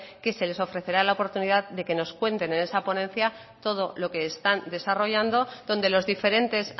que se les ofrecerá la oportunidad de que nos cuenten en esa ponencia todo lo que están desarrollando donde los diferentes